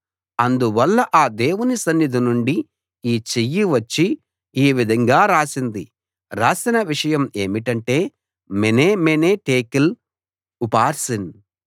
అందువల్ల ఆ దేవుని సన్నిధి నుండి ఈ చెయ్యి వచ్చి ఈ విధంగా రాసింది రాసిన విషయం ఏమిటంటే మెనే మెనే టెకేల్‌ ఉఫార్సీన్‌